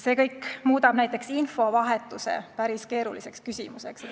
Kõik see muudab näiteks infovahetuse päris keeruliseks küsimuseks.